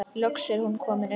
Loks er hún komin upp.